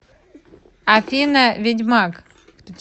афина ведьмаг